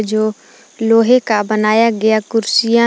जो लोहे का बनाया गया कुर्सियां--